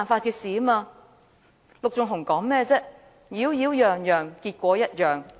陸頌雄議員剛才說甚麼"擾擾攘攘，結果一樣"。